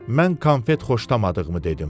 Mən konfet xoşlamadığımı dedim.